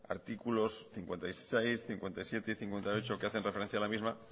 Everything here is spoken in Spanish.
artículos cincuenta y seis cincuenta y siete y cincuenta y ocho que hacen referencia a la misma